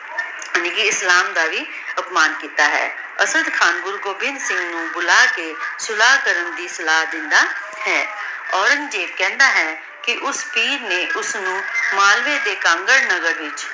ਦੀਨ ਇਸਲਾਮ ਦਾ ਵੀ ਆਤਮਾਂ ਕੀਤਾ ਹੈ ਅਸਾਡ ਖਾਨ ਗੁਰੂ ਗੋਬਿੰਦਹ ਨੂ ਬੁਲਾ ਕੇ ਸੁਲਾਹ ਕਰਨ ਦੀ ਸਲਾਹ ਦੇਂਦਾ ਹੈ ਔਰੇਨ੍ਗ੍ਜ਼ੇਬ ਕਹੰਦਾ ਹੈ ਕੇ ਓਸ ਫ਼ਕੀਰ ਨੇ ਓਸਨੂ ਮਾਲਵੇ ਦਾ ਧੰਗਰ ਨਗਰ ਵਿਚ